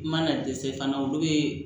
I mana dɛsɛ fana olu bɛ